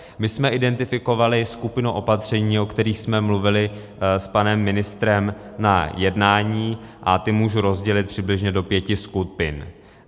My jsme identifikovali skupinu opatření, o kterých jsme mluvili s panem ministrem na jednání, a ta můžu rozdělit přibližně do pěti skupin.